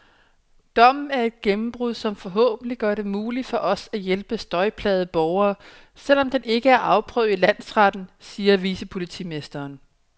Dommen er et gennembrud, som forhåbentlig gør det muligt for os at hjælpe støjplagede borgere, selv om den ikke er afprøvet i landsretten, siger vicepolitimesteren.